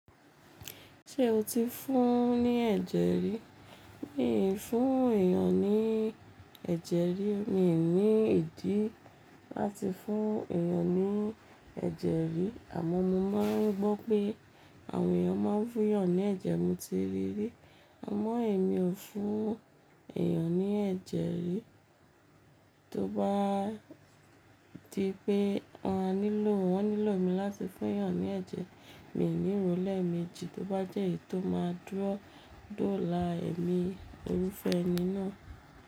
Ṣé o ti fún un ní ẹ̀jẹ̀ rí? Mi ò fún èèyàn ní ẹ̀jẹ̀ rí, mi ò ní ìdí láti fún èèyàn ní ẹ̀jẹ̀ rí àmọ́ mo máa ń gbọ́ pé àwọn èèyàn máa ń fún yàn ní ẹ̀jẹ̀, mo ti rí rí. Àmọ́ èmi ò fún èèyàn ní ẹ̀jẹ̀ rí. Tóbá di pé wọ́n á nílò won nilo mi láti fún èèyàn ní ẹ̀jẹ̀, mi níro lẹméjì, tó bá jẹ́ èyí tó máa dúró dóla èmi, iru fẹ́ ẹni náà.